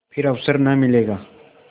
फिर अवसर न मिलेगा